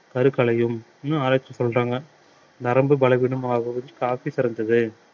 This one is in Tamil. கருக்கலையும் என்னும் ஆராய்ச்சி சொல்றாங்க நரம்பு பலவீனமாகவும் coffee சிறந்தது